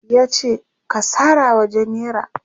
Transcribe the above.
yace "ka sarawa jenera!